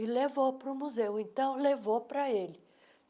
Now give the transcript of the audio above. E levou para o museu, então levou para ele.